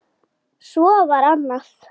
Svo var annað.